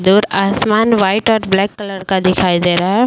दूर आसमान वाइट और ब्लैक कलर का दिखाई दे रहा है।